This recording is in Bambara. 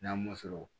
N'a m'o sɔrɔ